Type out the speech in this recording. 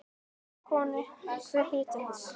Væna konu, hver hlýtur hana?